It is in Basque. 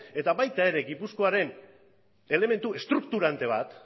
eta baita gipuzkoaren elementu estrukturante bat